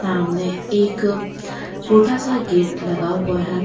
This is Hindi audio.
सामने एक छोटा सा गेट लगा हुआ है।